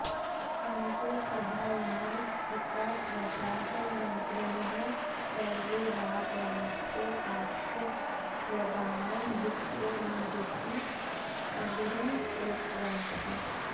अन्ते सभायां स्थिताः प्रजाः मन्त्रिणः सर्वे राजारामस्य आश्रयप्रदानं युक्तमेवेति अङ्गीकृतवन्तः